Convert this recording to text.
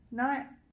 Nej